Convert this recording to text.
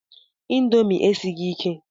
Índomi esighi ike